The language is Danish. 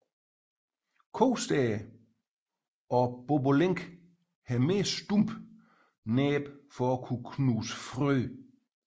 Kostære og bobolink har mere stumpe næb for at kunne knuse frø